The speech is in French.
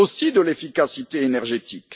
C'est aussi cela l'efficacité énergétique.